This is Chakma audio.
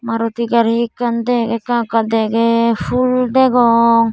maruti gari ekkan de ekka ekka degey phool degong.